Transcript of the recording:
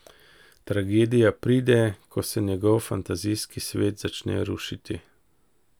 Tragedija pride, ko se njegov fantazijski svet začne rušiti.